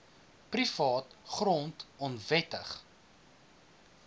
privaat grond onwettig